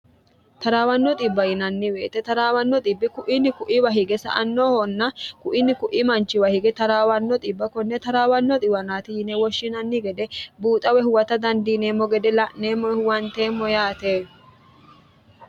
taraawanno xibba yinnnweete trawanno kuini kuiwa hige sa annoohonna kuini ku'i manchiwa hige taraawanno bb konne trwanno wnti yine woshshinanni gede buuxawe huwata dandiineemmo gede la'neemmo huwanteemmo yaate